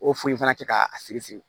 O foli in fana kɛ ka siri siri